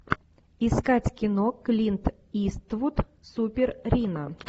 искать кино клинт иствуд супер рино